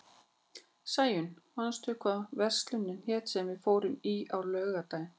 Sæunn, manstu hvað verslunin hét sem við fórum í á laugardaginn?